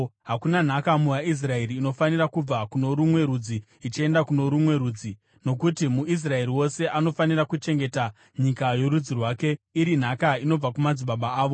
Hakuna nhaka muvaIsraeri inofanira kubva kuno rumwe rudzi ichienda kuno rumwe rudzi, nokuti muIsraeri wose anofanira kuchengeta nyika yorudzi rwake iri nhaka inobva kumadzibaba avo.